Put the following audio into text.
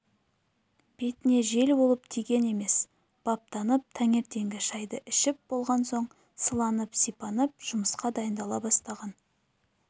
бетіне жел болып тиген емес баптанып таңертеңгі шайды ішіп болған соң сыланып-сипанып жұмысқа дайындала бастаған